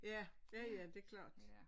Ja ja ja det klart